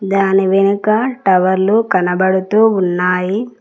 దాని వెనుక టవర్లు కనబడుతూ ఉన్నాయి.